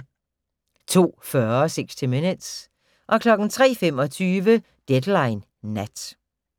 02:40: 60 Minutes 03:25: Deadline Nat